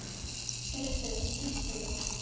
Heyrðu, bíddu nú.